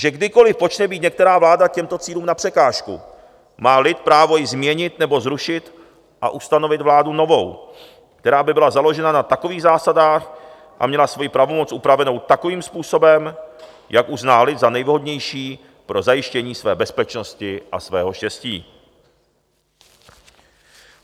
Že kdykoli počne být některá vláda těmto cílům na překážku, má lid právo ji změnit nebo zrušit a ustanovit vládu novou, která by byla založena na takových zásadách a měla svoji pravomoc upravenou takovým způsobem, jak uzná lid za nejvhodnější pro zajištění své bezpečnosti a svého štěstí.